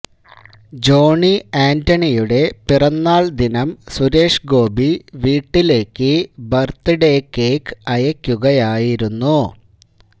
Johnny ആന്റണിയുടെ പിറന്നാൾ ദിനം സുരേഷ് ഗോപി വീട്ടിലേയ്ക്ക് ബർത്ത്ഡേ കേക്ക് അയയ്ക്കുകയായിരുന്നു